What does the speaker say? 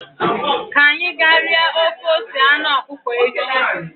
Ka anyị ga rie ofe ose anụ ọkụkọ echi